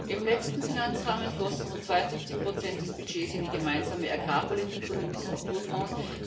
Im letzten Finanzrahmen flossen rund 72 des Budgets in die gemeinsame Agrarpolitik und in die Strukturfonds.